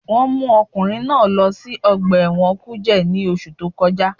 Wọ́n mú ọkùnrin náà lọ sí ọgbà ẹ̀wọ̀n kùjé ní oṣù tó kọjá